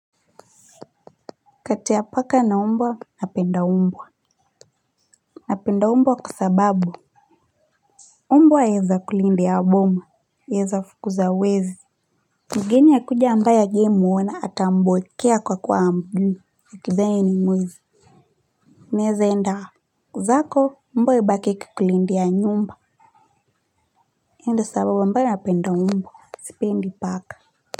Kati ya paka na umbwa, napenda umbwa napenda umbwa kwasababu umbwa yaweza kulindia boma naweza fukuza wezi mgeni akija ambae hajawai muona ata mbwekea kwa kuwa hamjui wakidhani ni mwizi naweza enda zako mbwa ibaki ikikulindia nyumba hiyo ndio sababu napenda mbwa sipendi paka.